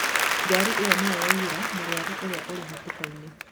Ngari ĩo nĩyo yaiyĩra mũrwaru ũrĩa ũrĩ hatĩkainĩ